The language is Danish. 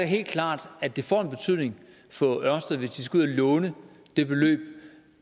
helt klart at det får en betydning for ørsted hvis de skal ud at låne det beløb